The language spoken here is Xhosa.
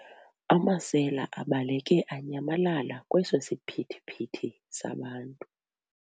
Amasela abaleke anyamalala kweso siphithiphithi sabantu.